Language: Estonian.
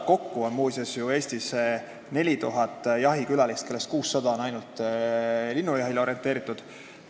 Kokku käib Eestis 4000 jahikülalist, kellest ainult 600 on linnujahile orienteeritud.